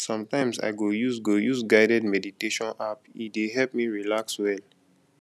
sometimes i go use go use guided meditation app e dey help me relax well